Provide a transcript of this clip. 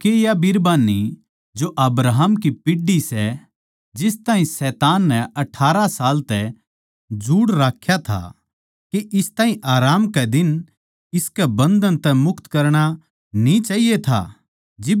तो के या बिरबान्नी जो अब्राहम की पीढ़ी सै जिस ताहीं शैतान नै अठारह साल तै जुड़ राख्या था के इस ताहीं आराम कै दिन इसके बन्धन तै मुक्त करणा न्ही चाहिये था